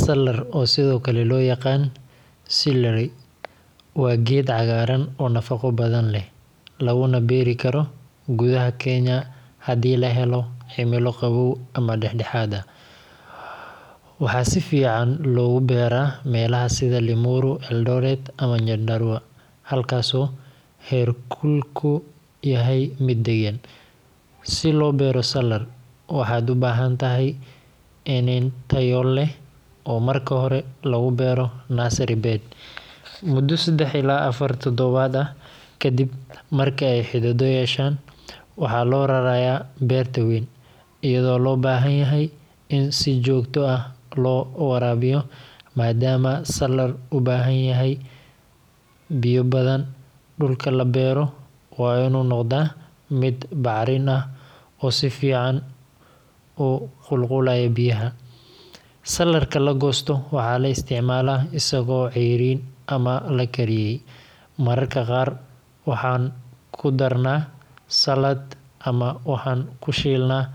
Salar oo sithokale loyaqan salary waa geed cagaran oo nafaqo badan leh laguna beeri karo gudaha kenya hadii lahelo ximila qawow ama dex dexad ah waxaa sifican logu beera melaha sitha limuru eldoret ama nyandarua halkas ayu her kulku kuyahay miid dagan, si lo beero salar waxaa u bahantahay lin tayo leh oo marki hore lagu beero nursery bed mudo sadax ila afar tadawaad ah kadiib marke xididoyin yeshan waxaa lo raraya beerta weyn iyada oo lo bahan yahay in si jogto ah lo warabiyo madama salar u bahan yahay biyo badan, dulka labero waa in u noqda miid bacrin ah quseyo sifican oo qul qulaya biyaha, salarka lagosto waxaa la isticmala isago ceyrin ama lakariyey mararka qar waxaa kudarna salad ama waxan kushilna